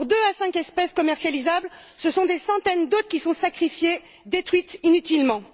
Pour deux à cinq espèces commercialisables, ce sont des centaines d'autres qui sont sacrifiées, détruites inutilement.